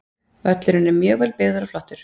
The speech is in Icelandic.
Völlurinn er mjög vel byggður og flottur.